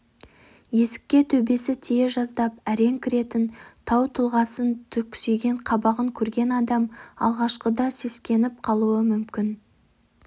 есікке төбесі тие жаздап әрең кіретін тау тұлғасын түксиген қабағын көрген адам алғашқыда сескеніп қалуы мүмкін